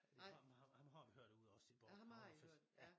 Ham ham ham har vi hørt derude også i Bork havnefest ja